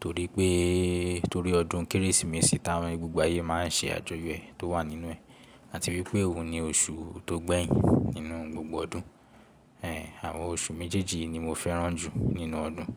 torí pé, torí ọdún Kérésìmesì táwọn gbogbo ayé máa n ṣe àjọyọ̀ ẹ̀ tó wà nínú ẹ̀ àti wípé òun ni oṣù tó gbẹ́yìn nínú gbogbo ọdún. Ẹ̀, àwọn oṣù méjèèjì ni mo fẹ́ràn jù nínú ọdún.